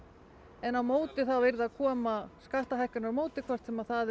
en á móti þá yrði að koma skattahækkun á móti hvort sem það